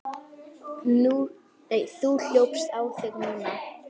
Þú hljópst á þig núna.